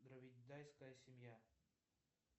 дравидайская семья